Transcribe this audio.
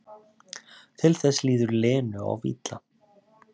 Til þess líður Lenu of illa.